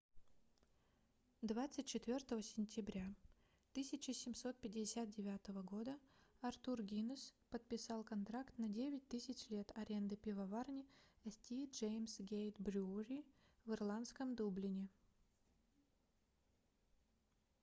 24 сентября 1759 года артур гиннесс подписал контракт на 9000 лет аренды пивоварни st james' gate brewery в ирландском дублине